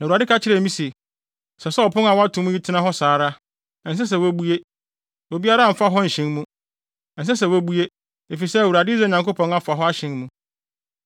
Na Awurade ka kyerɛɛ me se, “Ɛsɛ sɛ ɔpon a wɔato mu yi tena hɔ saa ara. Ɛnsɛ sɛ wobue. Obiara mfa hɔ nhyɛn mu. Ɛnsɛ sɛ wobue, efisɛ Awurade, Israel Nyankopɔn afa hɔ ahyɛn mu.